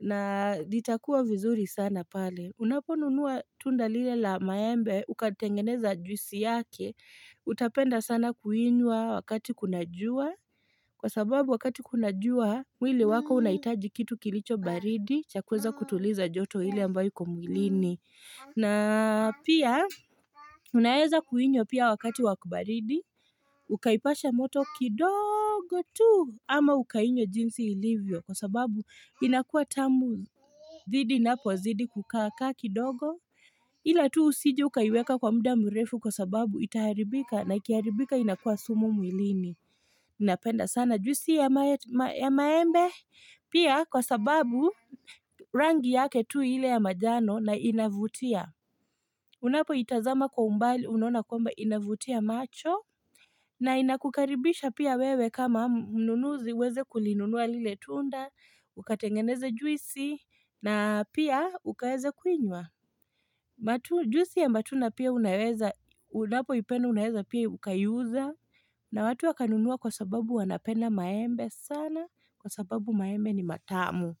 na zitakuwa vizuri sana pale. Unaponunua tunda lile la maembe, ukatengeneza juisi yake, utapenda sana kuinywa wakati kuna jua, kwa sababu wakati kuna jua, mwili wako unaitaji kitu kilicho baridi, cha kuweza kutuliza joto ile ambayo iko mwilini. Na pia unaeza kuinywa pia wakati wa kubaridi, ukaipasha moto kidogo tu ama ukainywa jinsi ilivyo kwa sababu inakua tamu zidi napozidi kukaa kaa kidogo. Ila tu usije ukaiweka kwa muda mrefu kwa sababu itaharibika na ikiharibika inakua sumu mwilini. Napenda sana juisi ya maembe pia kwa sababu rangi yake tu ile ya majano na inavutia. Unapo itazama kwa umbali unaona kwamba inavutia macho na inakukaribisha pia wewe kama mnunuzi uweze kulinunua lile tunda, ukatengeneze juisi na pia ukaweze kuinywa. Matu, juisi ya matunda pia unaweza, unapo ipenda unaweza pia ukaiuza na watu wakanunua kwa sababu wanapenda maembe sana Kwa sababu maembe ni matamu.